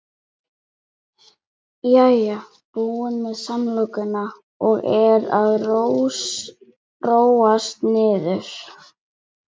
Jæja, búin með samlokuna og er að róast niður.